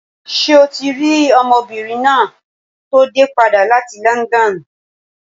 Ṣé o ti rí ọmọbìnrin náà tó dé padà láti London?